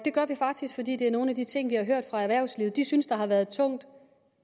vi faktisk fordi det er nogle af de ting vi har hørt fra erhvervslivet de synes har været tunge